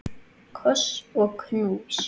Koss og knús.